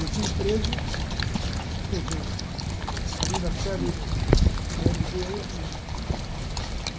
Eu fui preso ali na sala, na erre pê, eu e a menina.